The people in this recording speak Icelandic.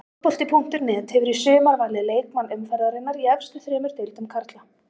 Fótbolti.net hefur í sumar valið leikmann umferðarinnar í efstu þremur deildum karla.